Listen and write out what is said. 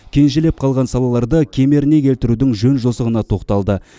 кенжелеп қалған салаларды кемеріне келтірудің жөн жосығына тоқталды